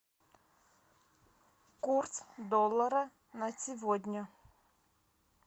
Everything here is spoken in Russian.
курс доллара на сегодня